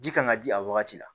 Ji kan ka di a wagati la